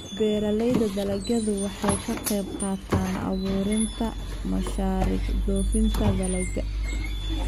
Beeralayda dalagyadu waxay ka qaybqaataan abuuritaanka mashaariic dhoofinta dalagga.